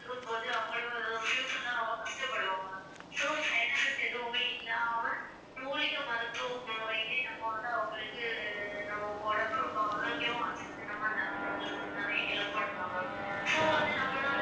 இருக்கும்போது அவங்களும் ஒரு future ல ரொம்ப கஷ்டப்படுவாங்க so side effects எதுவுமே இல்லாம மூலிகை மருத்துவ நம்ம வந்து அவங்களுக்கு நம்ம உடம்பு ரொம்ப ஆரோக்கியமா வச்சிக்கிறது ரொம்ப நல்லது நிறைய help பண்ணலாம் ma'am so வந்து நம்மளால